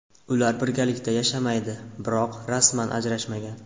Ular birgalikda yashamaydi, biroq rasman ajrashmagan.